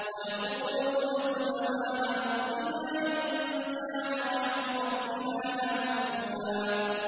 وَيَقُولُونَ سُبْحَانَ رَبِّنَا إِن كَانَ وَعْدُ رَبِّنَا لَمَفْعُولًا